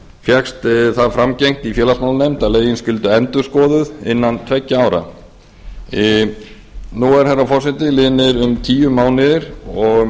fékkst það framgengt i félagsmálanefnd að lögin skyldu endurskoðuð innan tveggja ára nú eru herra forseti liðnir um tíu mánuðir og